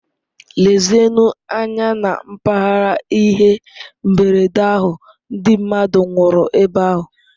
Lezienụ anya na mpaghara ihe mberede ahụ, ndị mmadụ nwụrụ ebe ahụ.